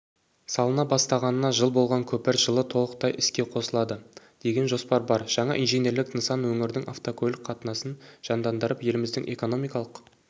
салына бастағанына жыл болған көпір жылы толықтай іске қосылады деген жоспар бар жаңа инженерлік нысан өңірдің автокөлік қатынасын жандандырып еліміздің экономикалық